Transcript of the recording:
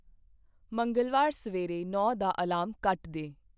ਮੰਗਲਵਾਰ ਸਵੇਰੇ ਨੌਂ ਦਾ ਅਲਾਰਮ ਕੱਟ ਦੇ ।